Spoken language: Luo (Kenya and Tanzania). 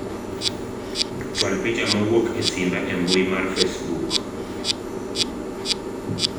chwal picha mowuok e simba e mbui mar facebook